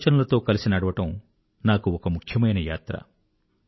మీ ఆలోచనలతో కలిసి నడవడం నాకు ఒక ముఖ్యమైన యాత్ర